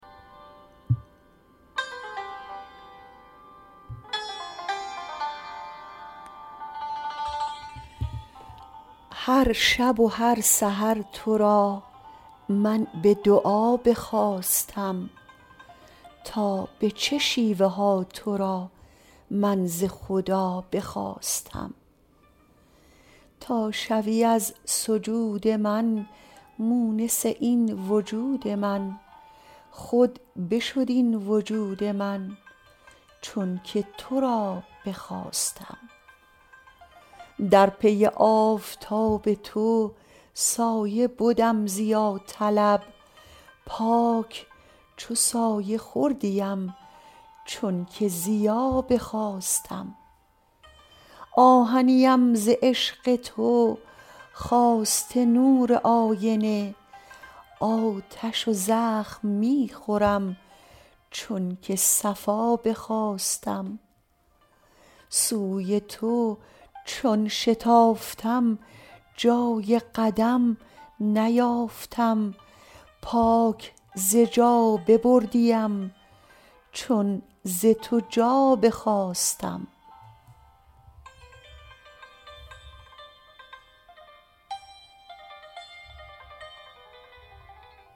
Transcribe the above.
هر شب و هر سحر تو را من به دعا بخواستم تا به چه شیوه ها تو را من ز خدا بخواستم تا شوی از سجود من مونس این وجود من خود بشد این وجود من چون که تو را بخواستم در پی آفتاب تو سایه بدم ضیاطلب پاک چو سایه خوردیم چون که ضیا بخواستم آهنیم ز عشق تو خواسته نور آینه آتش و زخم می خورم چونک صفا بخواستم سوی تو چون شتافتم جای قدم نیافتم پاک ز جا ببردیم چون ز تو جا بخواستم